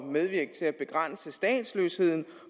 medvirke til at begrænse statsløsheden